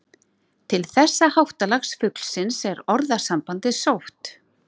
Til þessa háttalags fuglsins er orðasambandið sótt.